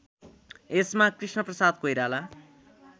यसमा कृष्णप्रसाद कोइराला